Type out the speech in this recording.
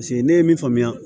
Paseke ne ye min faamuya